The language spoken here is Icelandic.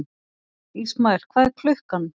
Ismael, hvað er klukkan?